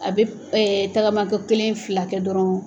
A bɛ tagama ko kelen, fila kɛ dɔrɔn